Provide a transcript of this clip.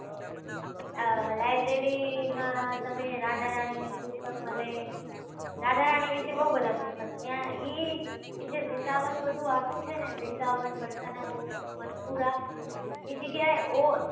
આ library માં તમે રાધા રાણીપુસ્તક મળે રાધા રાણી વિશે બઉ બધા પુસ્તક મળે એ જ્યાં વૃંદાવન બધું આખું છે ને વૃંદાવન વરસના ગોકુલ મથુરા એ જગ્યા એ